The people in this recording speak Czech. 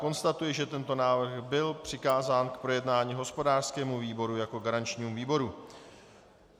Konstatuji, že tento návrh by přikázán k projednání hospodářskému výboru jako garančnímu výboru.